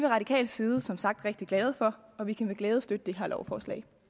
radikal side som sagt rigtig glade for og vi kan med glæde støtte det her lovforslag